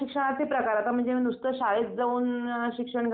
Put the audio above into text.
लहान मुलांची खरेदी